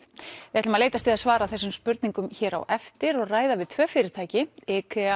við ætlum að leitast við að svara þessum spurningum hér á eftir og ræða við tvö fyrirtæki